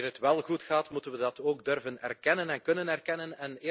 Wanneer het wel goed gaat, moeten we dat ook durven erkennen en kunnen erkennen.